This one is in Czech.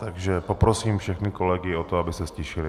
Takže poprosím všechny kolegy o to, aby se ztišili.